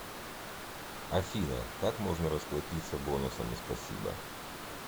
афина как можно расплатиться бонусами спасибо